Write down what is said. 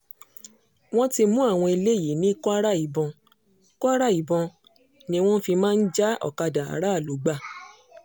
wọ́n ti mú àwọn eléyìí ní kwara ìbọn kwara ìbọn ni wọ́n fi máa ń já òkadà aráàlú gbà